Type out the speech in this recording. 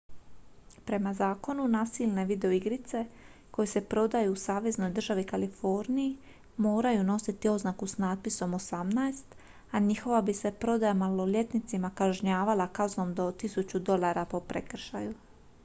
"prema zakonu nasilne videoigrice koje se prodaju u saveznoj državi kaliforniji moraju nositi oznaku s natpisom "18" a njihova bi se prodaja maloljetnicima kažnjavala kaznom do 1000 dolara po prekršaju.